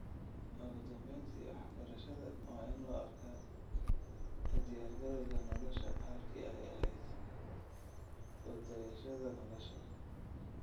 Ugu dambeyntii, waxbarashada waa in loo arkaa u diyaargarowga nolosha halkii ay ahayd ku dayashada nolosha.